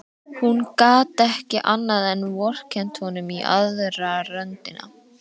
Hún gat ekki annað en vorkennt honum í aðra röndina.